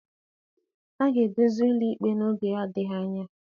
A ga-edozi ụlọ ikpe n'oge adịghị anya